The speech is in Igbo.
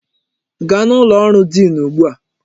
Gaa n'ụlọ ọrụ diin ugbu a!